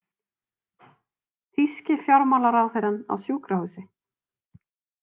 Þýski fjármálaráðherrann á sjúkrahúsi